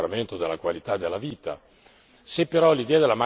che ci danno ancora di miglioramento della qualità della vita.